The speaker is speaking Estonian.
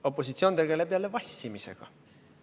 Opositsioon tegeleb jälle vassimisega.